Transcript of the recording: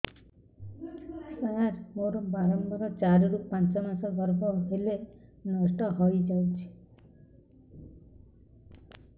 ସାର ମୋର ବାରମ୍ବାର ଚାରି ରୁ ପାଞ୍ଚ ମାସ ଗର୍ଭ ହେଲେ ନଷ୍ଟ ହଇଯାଉଛି